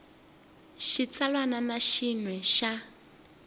xitsalwana na xin we xa